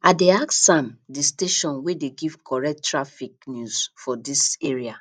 i dey ask am di station wey dey give correct traffic news for dis area